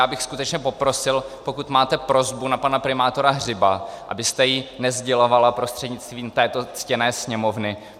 Já bych skutečně poprosil, pokud máte prosbu na pana primátora Hřiba, abyste ji nesdělovala prostřednictvím této ctěné Sněmovny.